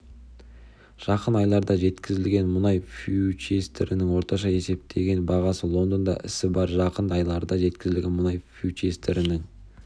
жақын айларда жеткізілетін мұнай фьючерстерінің орташа есептеген бағасы лондонда ісі барр жақын айларда жеткізілетін мұнай фьючерстерінің